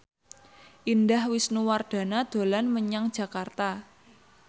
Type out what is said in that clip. Indah Wisnuwardana dolan menyang Jakarta